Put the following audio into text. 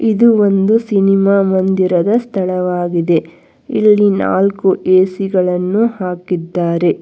ಇದು ಒಂದು ಸಿನಿಮಾ ಮಂದಿರದ ಸ್ಥಳವಾಗಿದೆ ಇಲ್ಲಿ ನಾಲ್ಕು ಎ_ಸಿ ಗಳನ್ನು ಹಾಕಿದ್ದಾರೆ.